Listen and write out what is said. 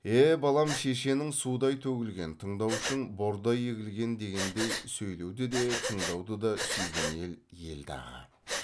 е балам шешенің судай төгілген тыңдаушың бордай егілген дегендей сөйлеуді де тыңдауды да сүйген ел ел дағы